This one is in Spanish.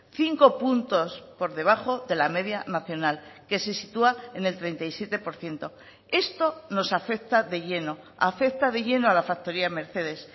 cinco puntos por debajo de la media nacional que se sitúa en el treinta y siete por ciento esto nos afecta de lleno afecta de lleno a la factoría de mercedes